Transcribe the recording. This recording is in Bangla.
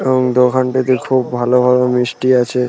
এবং দোকানটিতে খুব ভালো ভালো মিষ্টি আছে।